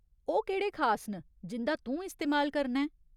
ओह् केह्ड़े खास न जिं'दा तूं इस्तेमाल करना ऐं ?